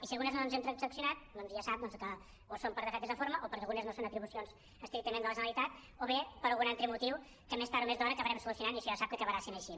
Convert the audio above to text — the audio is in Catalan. i si algunes no ens hem transaccionat doncs ja sap que o són per defectes de forma o perquè algunes no són atribucions estrictament de la generalitat o bé per algun altre motiu que més tard o més d’hora acabarem so·lucionant i si no sap que acabarà sent així